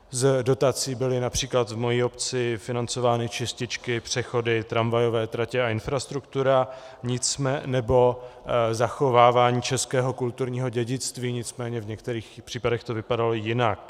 Z dotací byly například v mé obci financovány čističky, přechody, tramvajové tratě a infrastruktura nebo zachovávání českého kulturního dědictví, nicméně v některých případech to vypadalo jinak.